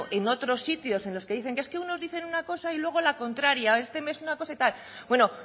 en otro sitios en los que dicen es que unos dicen una cosa y luego la contraria o este mes una cosa y tal bueno